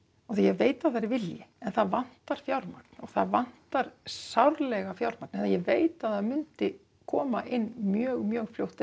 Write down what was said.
því ég veit það er vilji en það vantar fjármagn og það vantar sárlega fjármagn og ég veit það myndi koma inn mjög mjög fljótt ef